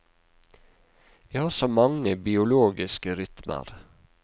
Vi har så mange biologiske rytmer.